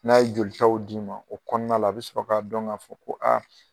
N'a ye jolitaw d'i ma o kɔnɔna la a bɛ sɔrɔ k'a dɔn k'a fɔ ko aa